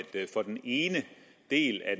for den ene del af